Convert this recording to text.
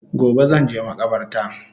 Gobe zanje makabarta